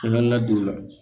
N hakili la don o la